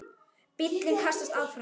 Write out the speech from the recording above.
Bíllinn kastast áfram.